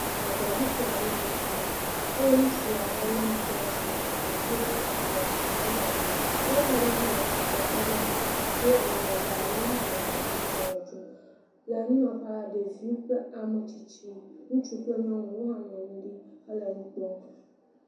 Ʋe ɖe ɖuƒe aɖee nye sia eye ŋutsu aɖe lé nuko laa shi le ha dzim do kootu yibɔ trɔza ʋe. Nyɔnu aɖe hã le tsi trek kpe ɖe eŋu do awu lɛgbɛ aɖe. Ya hã nɔ ha dzimnɔ ʋe ɖum. Le anyinɔƒea la, ɖevi kple ame tsitsi, ŋutsuwo kple nyɔnuwo hã nɔ anyi ɖi hele nu kpɔm.